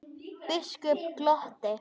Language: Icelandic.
Biskup glotti.